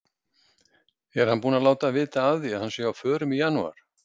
Er hann búinn að láta vita af því að hann sé á förum í janúar?